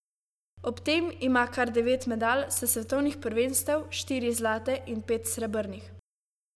Ob tem ima kar devet medalj s svetovnih prvenstev, štiri zlate in pet srebrnih.